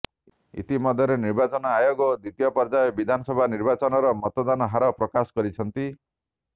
ଇତିମଧ୍ୟରେ ନିର୍ବାଚନ ଆୟୋଗ ଦ୍ୱିତୀୟ ପର୍ଯ୍ୟାୟ ବିଧାନସଭା ନିର୍ବାଚନର ମତଦାନ ହାର ପ୍ରକାଶ କରିଛନ୍ତି